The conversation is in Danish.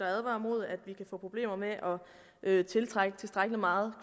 advaret mod at vi kan få problemer med at tiltrække tilstrækkelig meget